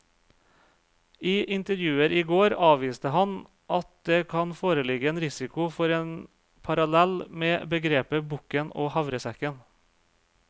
I intervjuer i går avviste han at det kan foreligge en risiko for en parallell med begrepet bukken og havresekken.